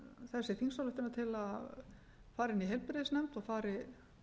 þessi þingsályktunartillaga fari inn í heilbrigðisnefnd og fari